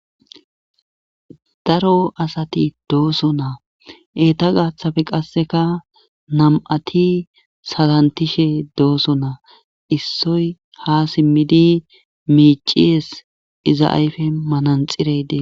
Daro asati dooso naa eeta gaaththafe qasseka nam7ati salantishe dooso naa issoy ha simmidi miiciyes iza ayfe mananxireyde